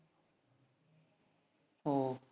ഓ